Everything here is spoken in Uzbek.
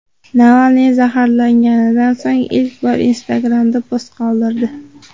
Navalniy zaharlanganidan so‘ng ilk bor Instagram’da post qoldirdi.